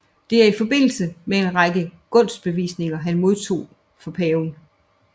Det er i forbindelse med en række gunstbevisninger han modtog fra Paven